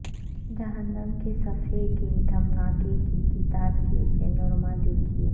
جہنم کے صفحے کے دھماکے کی کتاب کے پینورما دیکھیں